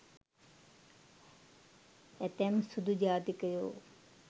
ඇතැම් සුදු ජාතිකයෝ